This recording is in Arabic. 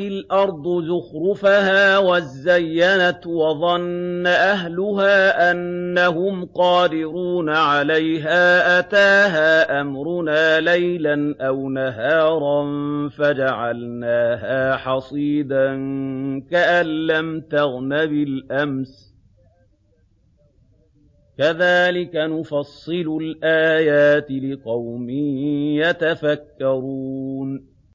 الْأَرْضُ زُخْرُفَهَا وَازَّيَّنَتْ وَظَنَّ أَهْلُهَا أَنَّهُمْ قَادِرُونَ عَلَيْهَا أَتَاهَا أَمْرُنَا لَيْلًا أَوْ نَهَارًا فَجَعَلْنَاهَا حَصِيدًا كَأَن لَّمْ تَغْنَ بِالْأَمْسِ ۚ كَذَٰلِكَ نُفَصِّلُ الْآيَاتِ لِقَوْمٍ يَتَفَكَّرُونَ